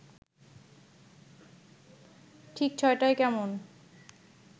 ঠিক ছ’টায় কেমন